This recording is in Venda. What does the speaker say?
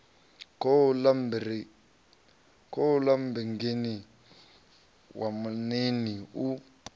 khouḽa mmbengeni wa maṋiini u